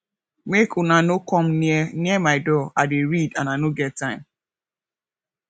make una no come near near my door i dey read and i no get time